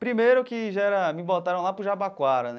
Primeiro, que já era me botaram lá para o Jabaquara né.